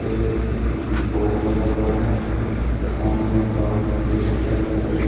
एक अ बोर्ड लगा हुआ है जिसके सामने एक बाइक खड़ी है ब्लैक कलर की।